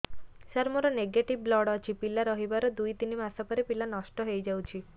ସାର ମୋର negative blood ଅଛି ପିଲା ରହିବାର ଦୁଇ ତିନି ମାସ ପରେ ପିଲା ନଷ୍ଟ ହେଇ ଯାଉଛି